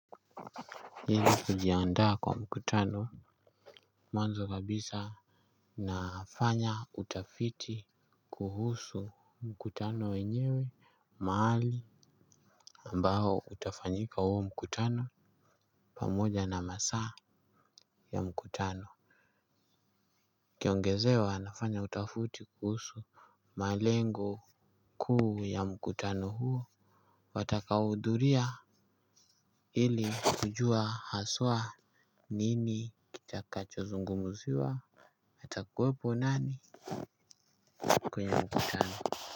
Ili kujiandaa kwa mkutano mwanzo kabisa nafanya utafiti kuhusu mkutano wenyewe mahali ambao utafanyika huo mkutano pamoja na masaa ya mkutano ukiongezewa nafanya utafiti kuhusu malengo kuu ya mkutano huo. Watakaohudhuria ili kujua haswa nini kitakachozungumziwa nitakuwepo nani kwenye mkutano.